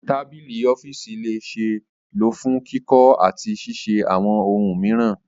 Tabili ọfiisi le ṣee lo fun kikọ ati ṣiṣe awọn ohun miiran